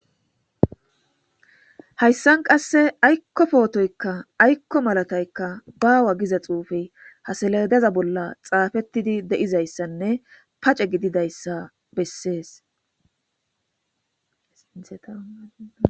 hayssan qasse aykko pootoykka aykko malataykka baawa giza xuufey ha saledeza bolla xaafettidi de'izayssanne pace gididayssa bessees